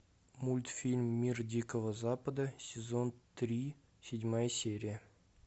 мультфильм мир дикого запада сезон три седьмая серия